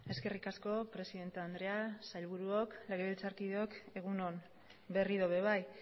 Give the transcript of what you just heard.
eskerrik asko presidente andrea sailburuok legebiltzarkideok egun on berriro ere bai